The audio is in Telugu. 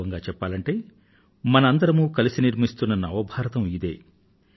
వాస్తవంగా చెప్పాలంటే మనందరం కలిసి నిర్మిస్తున్న నవ భారతం ఇదే